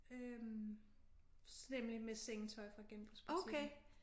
Øh nemlig med sengetøj fra genbrugsbutikken